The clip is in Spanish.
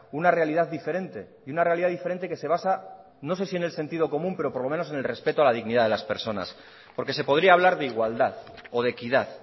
una realidad diferente y una realidad diferente que se basa no sé si en el sentido común pero por lo menos en el respeto a la dignidad de las personas porque se podría hablar de igualdad o de equidad